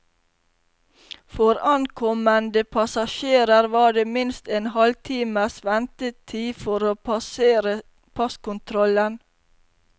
For ankommende passasjerer var det minst en halv times ventetid for å passere passkontrollen.